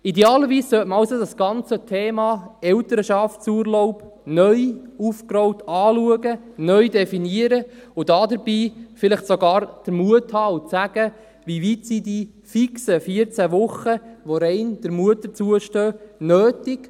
Idealerweise sollte man also das ganze Thema Elternschaftsurlaub neu aufgerollt anschauen, neu definieren, und dabei vielleicht sogar den Mut haben, zu sagen: Wie weit sind die fixen 14 Wochen, die rein der Mutter zustehen, nötig?